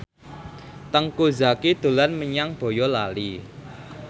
Teuku Zacky dolan menyang Boyolali